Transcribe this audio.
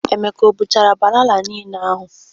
Emeka e buchara banana ahụ nile?